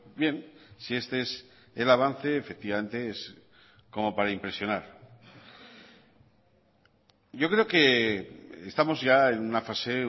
bien si este es el avance efectivamente es como para impresionar yo creo que estamos ya en una fase